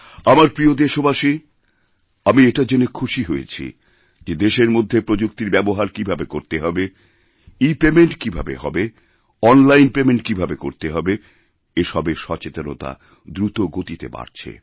আমার প্রিয় দেশবাসী আমি এটাজেনে খুশী হয়েছি যে দেশের মধ্যে প্রযুক্তির ব্যবহার কীভাবে করতে হবে ইপেমেন্টকীভাবে হবে অনলাইন পেমেন্ট কীভাবে করতে হবে এসবের সচেতনতা দ্রুতগতিতে বাড়ছে